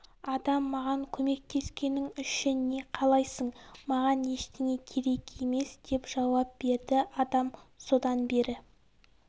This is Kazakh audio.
адам маған көмектескенің үшін не қалайсың маған ештеңе керек емес деп жауап берді адам содан бері